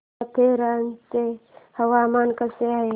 माथेरान चं हवामान कसं आहे